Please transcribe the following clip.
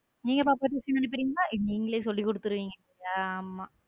நீங்க பாப்பாவ tuition அனுப்புறீங்களா? நீங்களே சொல்லிக் கொடுத்துடுவிங்க ஆமா.